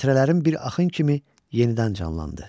Xatirələrim bir axın kimi yenidən canlandı.